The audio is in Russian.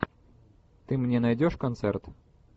ты мне найдешь концерт